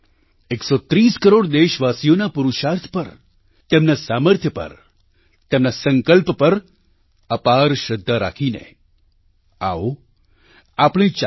130 કરોડ દેશવાસીઓના પુરુષાર્થ પર તેમના સામર્થ્ય પર તેમના સંકલ્પ પર અપાર શ્રદ્ધા રાખીને આવો આપણે ચાલીએ